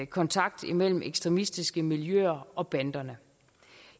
kontakt mellem ekstremistiske miljøer og banderne